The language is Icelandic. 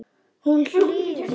Hún hlýðir.